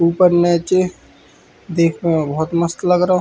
ऊपर नीचे देखने में बहुत मस्त लग रो --